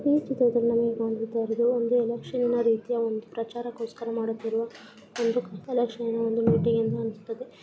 ಈ ಚಿತ್ರದಲ್ಲಿ ನಮಿಗ್ ಕಾಣುಸ್ತಾಯಿರೋದು ಒಂದು ಎಲೆಕ್ಷನ್ನ ರೀತಿಯ ಒಂದು ಪ್ರಚಾರಕ್ಕಾಗಿ ಮಾಡುತ್ತಿರುವ ಒಂದು ಕತ್ತಲ ಶೈಲಿಯ ಒಂದು ಮೀಟಿಂಗ್ ಅಂತ ಅನ್ನಿಸ್ತಿದೆ.